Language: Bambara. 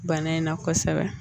Bana in na kosɛbɛ